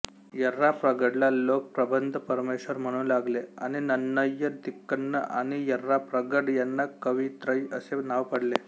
यर्राप्रगडला लोक प्रबंधपरमेश्वर म्हणू लागले आणि नन्नय्य तिक्कन्न आणि यर्राप्रगड यांना कवित्रय असे नाव पडले